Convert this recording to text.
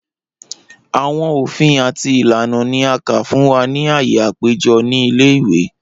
Awọn ofin ati ilana ni a ka fun wa ni aaye apejọ ni ile-iwe.